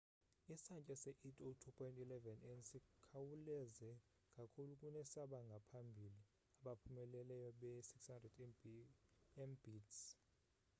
isantya se-802.11n sikhawuleze kakhulu kunesabangaphambili abaphumeleleyo be-600mbit / s